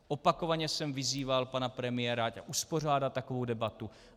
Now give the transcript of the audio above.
Opakovaně jsem vyzýval pana premiéra, ať uspořádá takovou debatu.